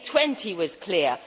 G20 was clear.